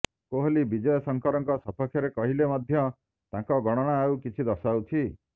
କୋହଲି ବିଜୟ ଶଙ୍କରଙ୍କ ସପକ୍ଷରେ କହିଲେ ମଧ୍ୟ ତାଙ୍କ ଗଣନା ଆଉ କିଛି ଦର୍ଶାଉଛି